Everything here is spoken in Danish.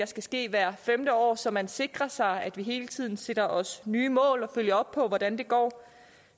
skal ske hvert femte år så man sikrer sig at vi hele tiden sætter os nye mål og følger op på hvordan det går